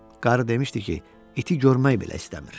Qarı demişdi ki, iti görmək belə istəmir.